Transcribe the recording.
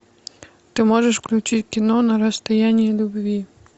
ты можешь включить кино на расстоянии любви